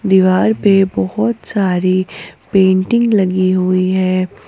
दीवार पे बहोत सारी पेंटिंग लगी हुई है।